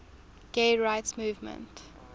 gay rights movement